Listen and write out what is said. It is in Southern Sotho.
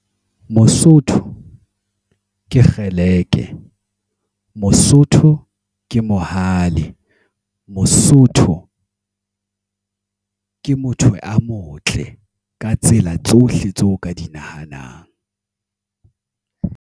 Mosotho, ke kgeleke. Mosotho, ke mohale. Mosotho, ke motho a motle, ka tsela tsohle tseo ka di nahanang.